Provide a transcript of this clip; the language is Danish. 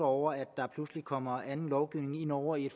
over at der pludselig kommer anden lovgivning ind over i